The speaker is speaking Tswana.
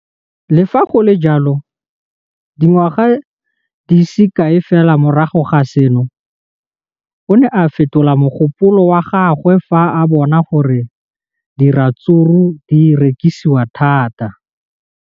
Le fa go le jalo, dingwaga di se kae fela morago ga seno, o ne a fetola mogopolo wa gagwe fa a bona gore diratsuru di rekisiwa thata.